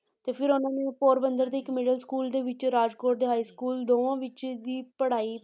ਤੇ ਫਿਰ ਉਹਨਾਂ ਨੇ ਪੋਰਬੰਦਰ ਦੇ ਇੱਕ middle school ਦੇ ਵਿੱਚ ਰਾਜਕੋਟ ਦੇ high school ਦੋਵਾਂ ਵਿੱਚ ਦੀ ਪੜ੍ਹਾਈ